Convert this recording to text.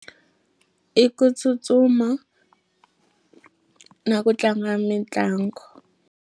I ku tsutsuma na ku tlanga mitlangu.